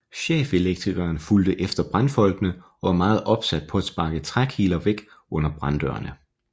Chefelektrikeren fulgte efter brandfolkene og var meget opsat på at sparke trækiler væk under branddørene